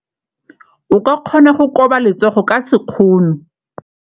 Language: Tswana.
O ka kgona go koba letsogo ka sekgono.